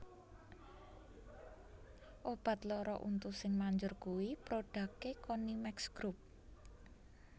Obat loro untu sing manjur kui prodake Konimex Group